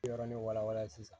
Yɔrɔnin wala wala sisan